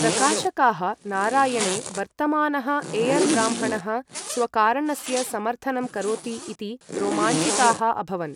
प्रकाशकाः नारायणे वर्तमानः ऐयर् ब्राह्मणः स्वकारणस्य समर्थनं करोति इति रोमाञ्चिताः अभवन्।